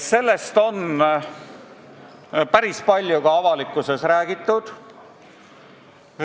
Sellest on päris palju ka avalikkuses räägitud.